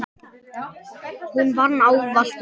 Hún vann ávallt úti.